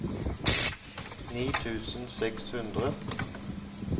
ni tusen og seks hundre